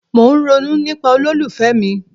Mo ń ronú nípa olólùfẹ́ mi.